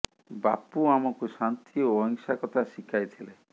ବାପୁ ଆମକୁ ଶାନ୍ତି ଓ ଅହିଂସା କଥା ଶିଖାଇ ଥିଲେ